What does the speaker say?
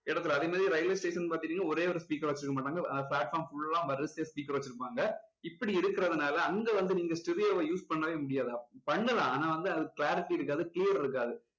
இடத்துல அதே மாதிரி railway station ன்னு பார்த்துக்கிட்டிங்கன்னா ஒரே ஒரு speaker வச்சுருக்கமாட்டாங்க platform full லா வரிசையா speaker வச்சுருப்பாங்க. இப்படி இருக்குறதுனால அங்க வந்து நீங்க stereo வ use பண்ணவே முடியாது பண்ணலாம் ஆனா வந்து அது clarity இருக்காது clear இருக்காது